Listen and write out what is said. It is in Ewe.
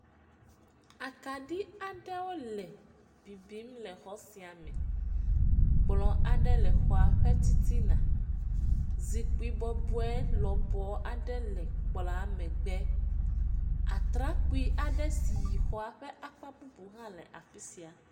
Akaɖi aɖewo le bibimi le xɔ sia me. kplɔ̃ aɖe le xɔa ƒe titina. Zikpui bɔbɔe lɔbɔɔ aɖe le kplɔ̃a megbe. Atrakpui aɖe s iyi xɔa ƒe akp bubu hã le afi sia.